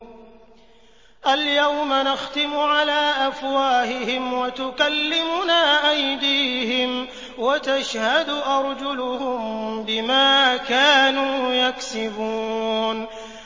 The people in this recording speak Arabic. الْيَوْمَ نَخْتِمُ عَلَىٰ أَفْوَاهِهِمْ وَتُكَلِّمُنَا أَيْدِيهِمْ وَتَشْهَدُ أَرْجُلُهُم بِمَا كَانُوا يَكْسِبُونَ